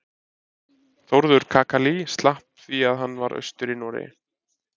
Þórður kakali slapp því að hann var austur í Noregi.